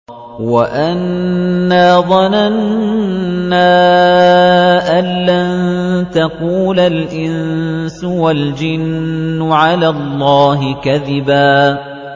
وَأَنَّا ظَنَنَّا أَن لَّن تَقُولَ الْإِنسُ وَالْجِنُّ عَلَى اللَّهِ كَذِبًا